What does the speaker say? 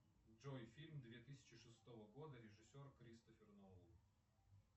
джой фильм две тысячи шестого года режиссер кристофер нолан